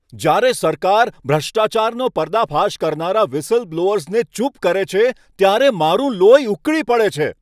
જ્યારે સરકાર ભ્રષ્ટાચારનો પર્દાફાશ કરનારા વ્હિસલબ્લોઅર્સને ચૂપ કરે છે, ત્યારે મારું લોહી ઉકળી પડે છે.